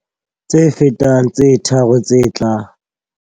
Tse fetang tse tharo tse tlang.